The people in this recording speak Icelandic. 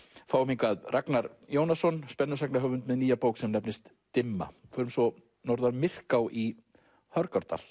fáum hingað Ragnar Jónasson með nýja bók sem nefnist dimma förum svo norður að Myrká í Hörgárdal